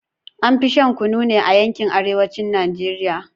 An fi shan Kunu ne a yankin arewacin Najeriya